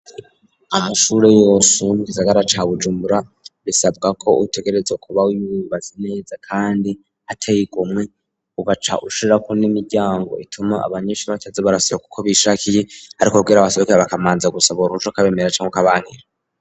Amashure yose yo mu gisagara ca Bujumbura bisabwa ko utegerezwa kuba wubatse neza kandi hateye igomwe, ugaca ushirako n'imiryango ituma abanyeshuri bataza barasohoka uko bishakiye, ariko kugira basohoke bakamanza gusaba uruhusha ukabemerera canke ukabankira.